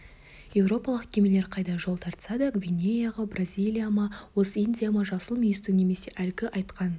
еуропалық кемелер қайда жол тартса да гвинеяға бразилия ма ост-индия ма жасыл мүйістің немесе әлгі айтқан